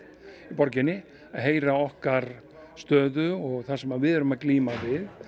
borginni að heyra okkar stöðu og það sem við erum að glíma við